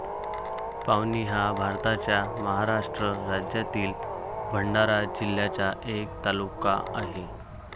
पावनी हा भारताच्या महाराष्ट्र राज्यातील भंडारा जिल्ह्याचा एक तालुका आहे.